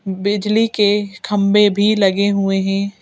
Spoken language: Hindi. बिजली के खंबे भी लगे हुए हैं।